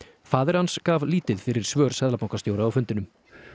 faðir hans gaf lítið fyrir svör seðlabankastjóra á fundinum